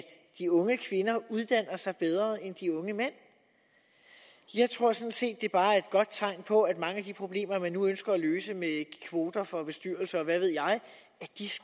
de unge kvinder uddannelse end de unge mænd jeg tror sådan set at det bare er et tegn på at mange af de problemer man nu ønsker at løse med kvoter for bestyrelser og hvad ved jeg vej